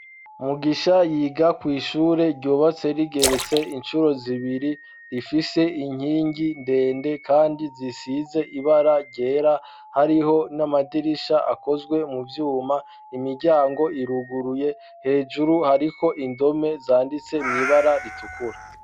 Mugisha yiga ku ishure ryobatse rigeretse incuro zibiri rifise inkingi ndende kandi zisize ibara gera hariho n'amadirisha akozwe mu vyuma, imiryango iruguruye hejuru hariko indome zanditse muibara ritukura.